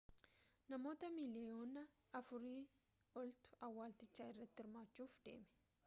namoota miliiyoona afuri oltu awwalchicha irratti hirmaachuf deeme